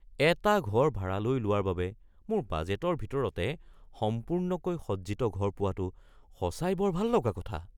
এটা ঘৰ ভাড়ালৈ লোৱাৰ বাবে মোৰ বাজেটৰ ভিতৰতে সম্পূৰ্ণকৈ সজ্জিত ঘৰ পোৱাটো সঁচাই বৰ ভাললগা কথা।